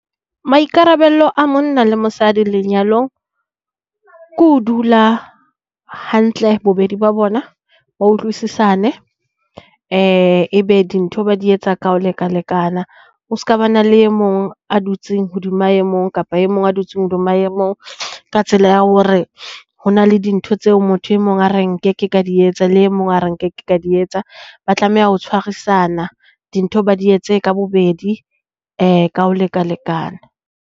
Maikarabelo a monna le mosadi lenyalong, ko ho dula hantle bobedi ba bona ba utlwisisane. Ebe dintho di etsa ka ho lekalekana. Ho ska ba na le e mong a dutseng hodima e mong kapa e mong a dutseng hodima e mong, ka tsela ya hore ho na le dintho tseo motho e mong a re nkeke ka di etsa a le mong a re nkeke ka di etsa. Ba tlameha ho tshwarisana dintho ba di etse ka bobedi ka ho lekalekana.